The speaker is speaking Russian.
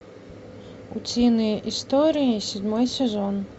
утиные истории седьмой сезон